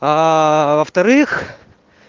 аа во-вторых